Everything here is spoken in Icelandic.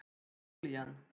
Júlían